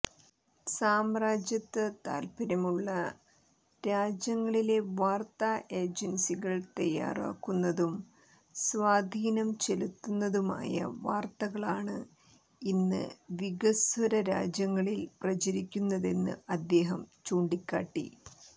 സാമ്രാജ്യത്വ താൽപര്യമുള്ള രാജ്യങ്ങളിലെ വാർത്താ ഏജൻസികൾ തയ്യാറാക്കുന്നതും സ്വാധീനം ചെലുത്തുന്നതുമായ വാർത്തകളാണ് ഇന്ന് വികസ്വര രാജ്യങ്ങളിൽ പ്രചരിക്കുന്നതെന്ന് അദ്ദേഹം ചൂണ്ടികാട്ടി